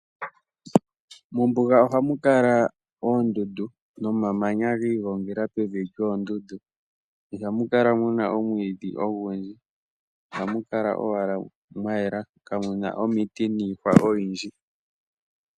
Mombuga ohamu kala oondundu nomamanya gi igongela pevi lyoondundu. Ihamu kala mu na omwiidhi ogundji ohamu kala owala mwa yela kamu na omiti niihwa oyindji.